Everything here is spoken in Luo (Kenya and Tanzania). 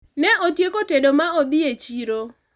ne otieko tedo ma odhi e chiro